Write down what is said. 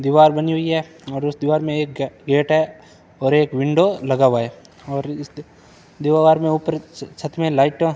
दीवार बनी हुई है और उस दीवार में एक गेट है और एक विंडो लगा हुआ है और इस दीवार में ऊपर छत में लाइट --